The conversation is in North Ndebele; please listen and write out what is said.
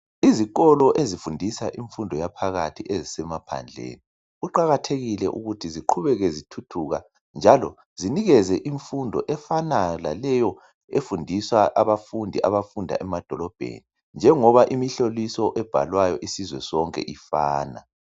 Izikolo ezifundisa imfundo yaphakathi ezisemaphandleni kuqakathekile ukuthi ziqhubeke zithuthuka njalo zinikeze imfundo efanayo laleyo efundisa abafundi abafunda emadolobheni njengoba imihloliso ebhalwayo isizwe sonke ifana.